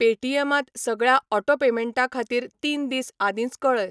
Paytm त सगळ्या auto पेमेंटां खातीर तीन दीस आदींच कऴय.